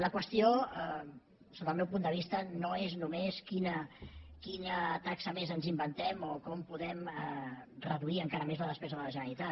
la qüestió sota el meu punt de vista no és només quina taxa més ens inventem o com podem reduir encara més la despesa de la generalitat